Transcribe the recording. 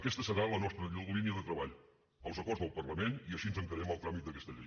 aquesta serà la nostra línia de treball els acords del parlament i així encarem el tràmit d’aquesta llei